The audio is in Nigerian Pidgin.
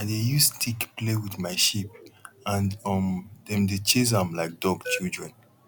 i dey use stick play with my sheep and um dem dey chase am like dog children